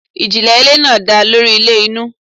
Ijinle ile naa da lori ilẹ inu